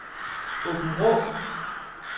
Aabenraa